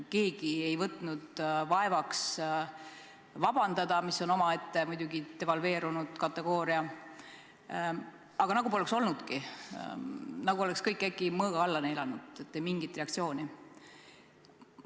Keegi ei võtnud vaevaks vabandada – mis on nüüd muidugi omaette devalveerunud kategooria –, aga seda nagu poleks olnudki, kõik oleks äkki nagu mõõga alla neelanud, ei mingit reaktsiooni.